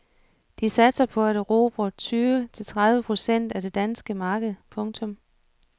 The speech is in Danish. De satser på at erobre tyve til tredive procent af det danske marked. punktum